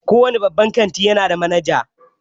Kowane babban kantin ya nada manaja.